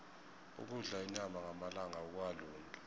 ukudla inyama ngamalanga akukalungi